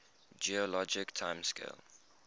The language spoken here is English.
geologic time scale